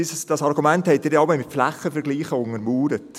Dieses Argument haben Sie mit Flächenvergleichen untermauert.